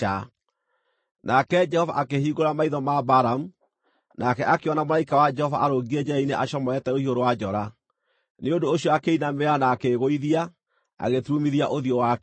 Nake Jehova akĩhingũra maitho ma Balamu, nake akĩona mũraika wa Jehova arũngiĩ njĩra-inĩ acomorete rũhiũ rwa njora. Nĩ ũndũ ũcio akĩinamĩrĩra na akĩĩgũithia, agĩturumithia ũthiũ wake thĩ.